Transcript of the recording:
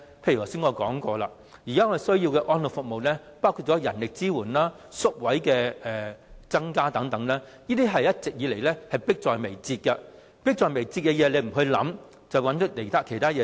例如我剛才指出了，現時需要的安老服務包括人力支援、增加宿位等，這些一直以來也是迫在眉睫的問題，但政府沒有考慮這些，反而做了其他工作。